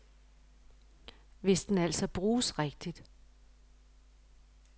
Hvis den altså bruges rigtigt.